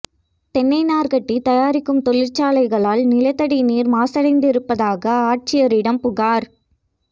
தென்னைநாா்க் கட்டி தயாரிக்கும் தொழிற்சாலைகளால் நிலத்தடி நீா் மாசடைந்திருப்பதாக ஆட்சியரிடம் புகாா்